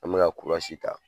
An mi ta